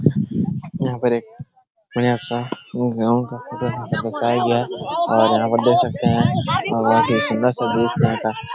यहाँ पर एक बढ़िया सा ग्राउंड का फोटो यहाँ पर दर्शाया गया है और यहाँ पर देख सकते हैं बहुत ही सुन्दर सा दृश्य